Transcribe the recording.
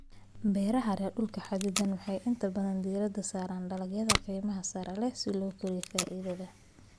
Beeraha leh dhul xaddidan waxay inta badan diiradda saaraan dalagyada qiimaha sare leh si loo kordhiyo faa'iidada.